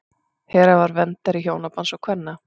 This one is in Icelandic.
hera var verndari hjónabands og kvenna